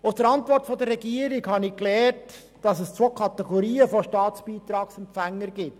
Aus der Antwort der Regierung habe ich gelernt, dass es zwei Kategorien von Staatsbeitragsempfängern gibt: